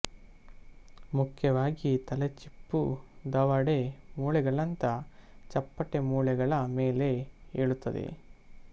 ಮುಖ್ಯವಾಗಿ ತಲೆಚಿಪ್ಪು ದವಡೆ ಮೂಳೆಗಳಂಥ ಚಪ್ಪಟೆ ಮೂಳೆಗಳ ಮೇಲೆ ಏಳುತ್ತದೆ